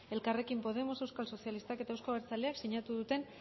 elkarrekin podemos euskal sozialistak eta euzko abertzaleak sinatu duten